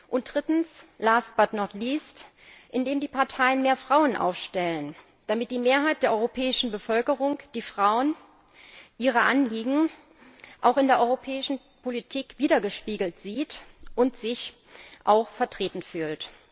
Und drittens last, but not least indem die Parteien mehr Frauen aufstellen, damit die Mehrheit der europäischen Bevölkerung die Frauen ihre Anliegen auch in der europäischen Politik widergespiegelt sieht und sich auch vertreten fühlt.